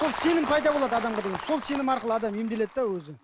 сол сенім пайда болады адамға деген сол сенім арқылы адам емделеді де өзі